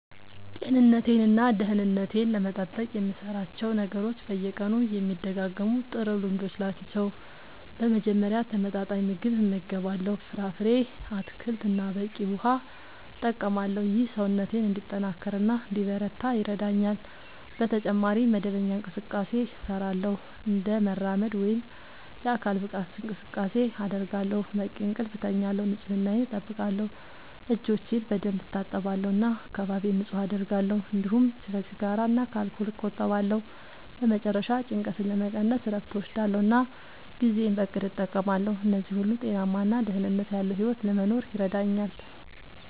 ጤንነቴን እና ደህንነቴን ለመጠበቅ የምሠራቸው ነገሮች በየቀኑ የሚደጋገሙ ጥሩ ልምዶች ናቸው። በመጀመሪያ ተመጣጣኝ ምግብ እመገባለሁ፣ ፍራፍሬ፣ አትክልት እና በቂ ውሃ እጠቀማለሁ። ይህ ሰውነቴን እንዲጠናከር እና እንዲበረታ ይረዳኛል። በተጨማሪ መደበኛ እንቅስቃሴ እሠራለሁ፣ እንደ መራመድ ወይም የአካል ብቃት እንቅስቃሴ አደርጋለሁ፣ በቂ እንቅልፍ እተኛለሁ፣ ንጽህናየን አጠብቃለሁ (እጆቼን በደንብ እታጠባለሁ እና አካባቢዬን ንጹህ አደርጋለሁ)፤እንዲሁም ከሲጋራ እና ከአልኮል እቆጠባለሁ። በመጨረሻ ጭንቀትን ለመቀነስ እረፍት እወስዳለሁ እና ጊዜዬን በእቅድ እጠቀማለሁ። እነዚህ ሁሉ ጤናማ እና ደህንነት ያለዉ ሕይወት ለመኖር ይረዳኛል።